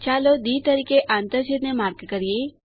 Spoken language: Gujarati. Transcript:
ચાલો ડી તરીકે આંતરછેદ ને માર્ક કરીએ